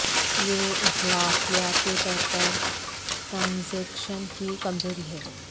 یہ اخلاقیات کے طور پر ٹرانزیکشن کی کمزوری ہے